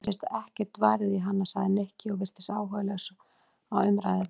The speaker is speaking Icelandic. Mér finnst ekkert varið í hana sagði Nikki og virtist áhugalaus á umræðuefninu.